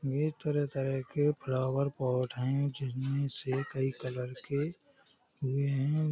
यह तरह तरह के फ्लावर पॉट है जिनमे से कई कलर के हुए हैं ।